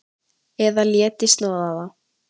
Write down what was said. Eða léti snoða það.